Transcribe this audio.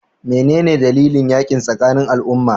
Me ne dalilin yakin tsakanin al'umma?